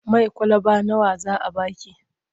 Mai kwalaba nawa za a ba ki?